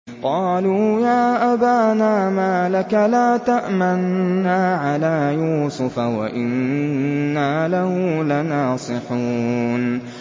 قَالُوا يَا أَبَانَا مَا لَكَ لَا تَأْمَنَّا عَلَىٰ يُوسُفَ وَإِنَّا لَهُ لَنَاصِحُونَ